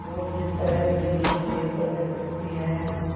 और जिस तरह बिल्ली चूहे पर झपटती है